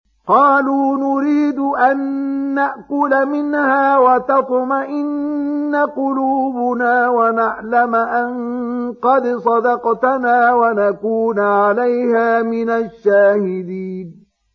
قَالُوا نُرِيدُ أَن نَّأْكُلَ مِنْهَا وَتَطْمَئِنَّ قُلُوبُنَا وَنَعْلَمَ أَن قَدْ صَدَقْتَنَا وَنَكُونَ عَلَيْهَا مِنَ الشَّاهِدِينَ